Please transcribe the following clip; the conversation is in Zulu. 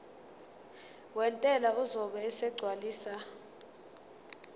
wentela uzobe esegcwalisa